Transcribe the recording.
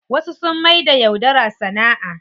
Wasu sun maida yaudara sana'a.